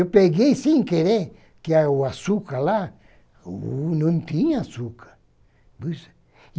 Eu peguei sem querer, porque que o açúcar lá o não tinha açúcar.